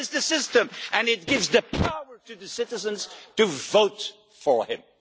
That is the system and it gives the power to the citizens to vote for him.